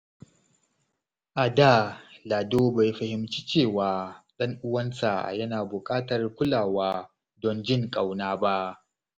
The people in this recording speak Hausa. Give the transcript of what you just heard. A da, Lado bai fahimci cewa ɗan uwansa yana buƙatar kulawa don jin ƙauna ba.